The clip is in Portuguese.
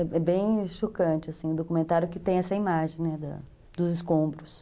É bem chocante assim, o documentário que tem essa imagem dos escombros.